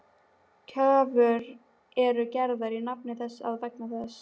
Kröfur eru gerðar í nafni þess og vegna þess.